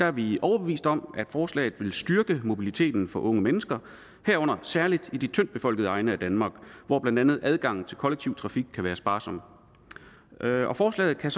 er vi overbeviste om at forslaget vil styrke mobiliteten for unge mennesker herunder særligt i de tyndt befolkede egne af danmark hvor blandt andet adgangen til kollektiv trafik kan være sparsom og lovforslaget kan